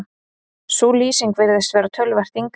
sú lýsing virðist vera töluvert yngri